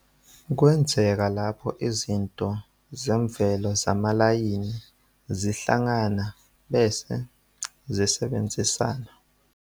Kwenzeka lapho izinto zemvelo zamalayini zihlangana bese zisebenzisana.